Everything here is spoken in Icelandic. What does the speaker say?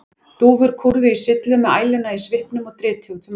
Dúfur kúrðu á syllum með æluna í svipnum og dritið út um allt.